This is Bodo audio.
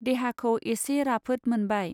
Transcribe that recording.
देहाखौ एसे राफोत मोनबाय।